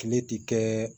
Tile ti kɛ